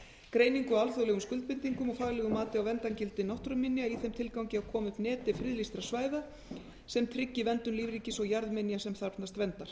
greiningu á alþjóðlegum skuldbindingum og faglegu mati á verndargildi náttúruminja í þeim tilgangi að koma upp neti friðlýstra svæða sem tryggi verndun lífríkis og jarðminja sem þarfnast verndar